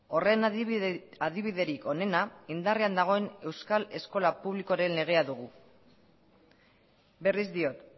horren adibiderik honena indarrean dagoen euskal eskola publikoaren legea dugu berriz diot